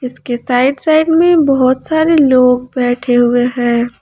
इसके side -side में बहुत सारे लोग बैठे हुए हैं।